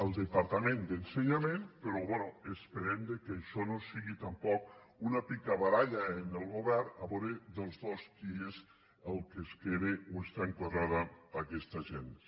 al departament d’ensenyament però bé esperem que això no sigui tampoc una picabaralla en el govern a veure dels dos qui és el que es queda o està enquadrada aquesta agència